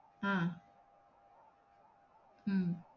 அஹ் உம்